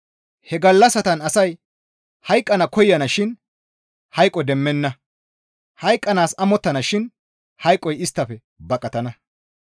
He gallassatan asay hayqqana koyana shin hayqo demmettenna; hayqqanaas amottana shin hayqoy isttafe baqatana.